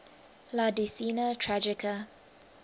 la decena tragica